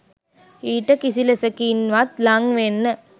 ඊට කිසි ලෙසකින්වත් ළං වෙන්න